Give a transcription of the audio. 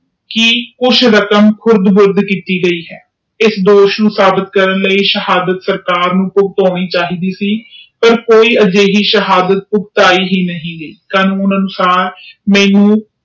ਕਿ ਕੁਛ ਰਾਕਾਮ ਕੀਤੀ ਗਯੀ ਆ ਇਸ ਦੋਸ਼ ਨੂੰ ਸਾਬਿਤ ਕਰਨ ਲਾਇ ਸਹਾਡੇਟਰ ਸਰਕਾਰ ਨੂੰ ਕੁਜ ਪੁੱਛ ਹੋਣੀ ਚਾਹੀਦੇ ਸੀ ਪਰ ਏਦਾਂ ਦੀ ਕੋਈ ਸ਼ਹਾਦਤ ਪੁਗਟਾਈ ਹੀ ਨਹੀਂ ਗਯੀ ਗੱਲ ਸੁਨਣ ਅਨੁਸਾਰ ਮੇਨੂ